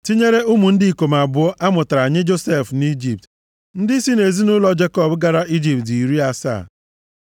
Tinyere ụmụ ndị ikom abụọ amụtara nye Josef nʼIjipt, ndị si nʼezinaụlọ Jekọb gara Ijipt dị iri asaa.